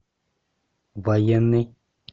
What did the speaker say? военный